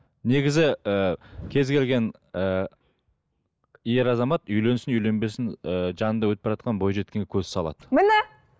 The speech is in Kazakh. негізі і кез келген ііі ер азамат үйленсін үйленбесін ыыы жанында өтіп баратқан бойжеткенге көз салады міне